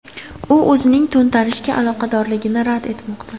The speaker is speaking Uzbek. U o‘zining to‘ntarishga aloqadorligini rad etmoqda.